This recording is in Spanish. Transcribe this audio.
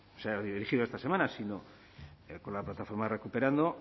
erigido esta semana sino con la plataforma recuperando